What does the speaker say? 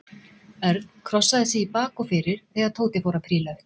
Örn krossaði sig í bak og fyrir þegar Tóti fór að príla upp.